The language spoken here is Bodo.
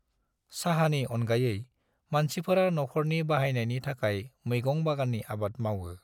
साहानि अनगायै, मानसिफोरा नखरनि बाहायनायनि थाखाय मैगं बागाननि आबाद मावो।